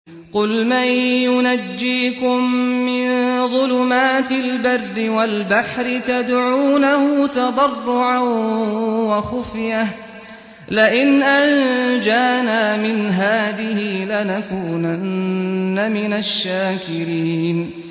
قُلْ مَن يُنَجِّيكُم مِّن ظُلُمَاتِ الْبَرِّ وَالْبَحْرِ تَدْعُونَهُ تَضَرُّعًا وَخُفْيَةً لَّئِنْ أَنجَانَا مِنْ هَٰذِهِ لَنَكُونَنَّ مِنَ الشَّاكِرِينَ